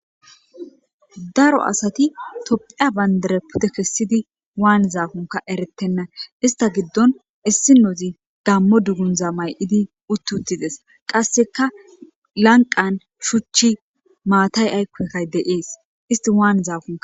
Daro asat tophiya bandira pude kesid wanizakonka eretena! Ista gidon issi oz gamo dunguza may uti utides. Qaseka lanqan shuch matay ayko itay de'es.